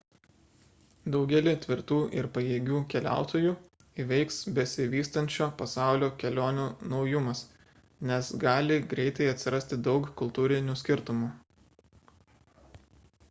daugelį tvirtų ir pajėgių keliautojų įveiks besivystančio pasaulio kelionių naujumas nes gali greitai atsirasti daug kultūrinių skirtumų